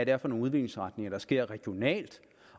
er for nogle udviklingsretninger der sker regionalt